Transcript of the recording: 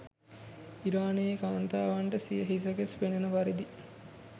ඉරානයේ කාන්තාවන්ට සිය හිස කෙස් පෙනන පරිදි